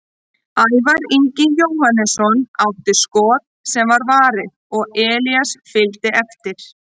Ævar Ingi Jóhannesson átti skot sem var varið og Elías fylgdi eftir.